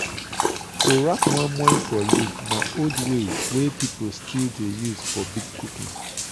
to wrap moimoi for leaf na old way wey people still dey use for big cooking.